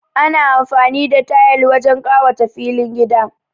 Ana amfani da tayal wajen kawata filin gida